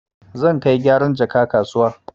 Zan kai gyaran jaka kasuwa.